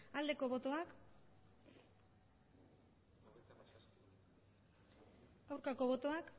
aldeko botoak aurkako botoak